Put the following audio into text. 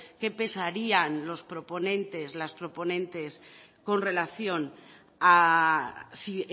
qué pensarían los proponentes las proponentes con relación a si